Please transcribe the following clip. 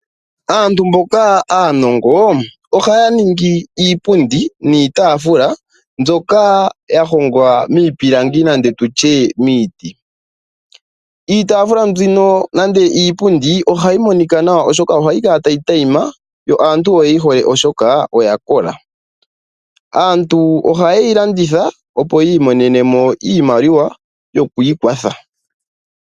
Aantu mboka aanongo ohaya ningi iipundi niitaafula mbyoka yahongwa miipilangi nenge tutye miiti. Iitaafula mbino nenge iipundi ohayi monika nawa, oshoka ohayi kala tayi tayima yo aantu oyeyi hole oshoka oyakola. Aantu ohaye yi landitha opo yi imonene mo iimaliwa yokwiikwatha.